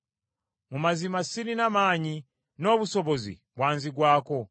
Mu mazima sirina maanyi n’obusobozi bwanzigwako.